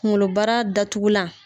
Kunkolobara datugulan